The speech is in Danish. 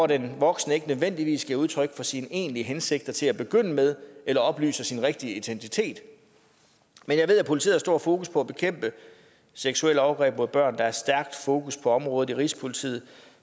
den voksne ikke nødvendigvis giver udtryk for sine egentlige hensigter til at begynde med eller oplyser sin rigtige identitet men jeg ved at politiet har stort fokus på at bekæmpe seksuelle overgreb mod børn der er stærkt fokus på området i rigspolitiet